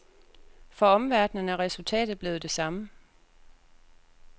For omverdenen er resultatet blevet det samme.